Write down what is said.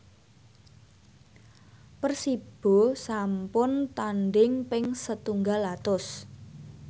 Persibo sampun tandhing ping setunggal atus